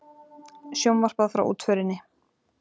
Sjónvarpað frá útförinni